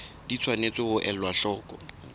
di tshwanetse ho elwa hloko